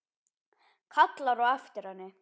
Kallar á eftir henni.